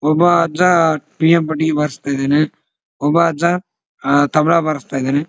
ಒಬ್ಬ ಅಜ್ಜ ಬಾರಿಸ್ತ ಇದಾನೆ ಒಬ್ಬ ಅಜ್ಜ ತಬಲ ಬಾರಿಸ್ತಾ ಇದಾನೆ.